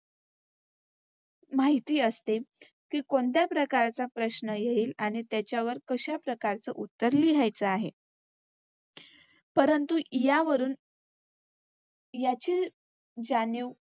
माहिती असते कि कोणत्या प्रकारचा प्रश्न येईल आणि त्याच्यावर कश्या प्रकारचं उत्तर लिहायचं आहे. परंतु यावरून याची जाणीव